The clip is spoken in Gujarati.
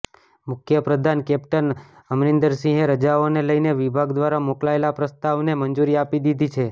મુખ્ય પ્રધાન કેપ્ટન અમરિન્દરસિંહે રજાઓને લઈને વિભાગ દ્વારા મોકલાયેલા પ્રસ્તાવને મંજૂરી આપી દીધી છે